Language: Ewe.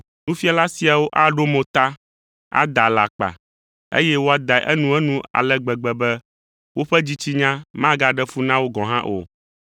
Nufiala siawo aɖo mo ta, ada alakpa, eye woadae enuenu ale gbegbe be woƒe dzitsinya magaɖe fu na wo gɔ̃ hã o.